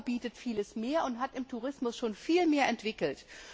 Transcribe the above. Europa bietet viel mehr und hat im Tourismus schon viel mehr entwickelt.